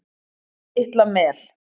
Litla Mel